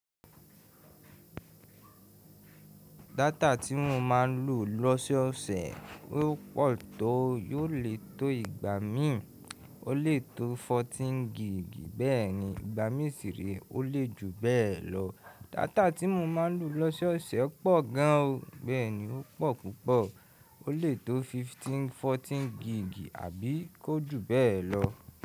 Data tí mo máa ń ló lòsèosè ó pò tó, yóò lè tó ìgbà míì. Ó lè tó fourteen gig bẹ́ẹ̀ni ìgbà míì sì rè e ó lè ju bẹ́ẹ̀ lọ. Data tí mo máa ń lò lọ́sọ́ọ̀sẹ̀ pọ̀ gan an o, bẹ́ẹ̀ni ó pọ̀ púpọ̀. Ó lè toó fourteen gig àbí kó jù be lo.